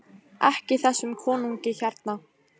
EKKI ÞESSUM KONUNGI HÉRNA!